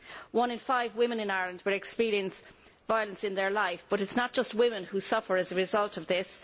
One in five women in Ireland will experience violence in their lives, but it is not just women who suffer as a result of this.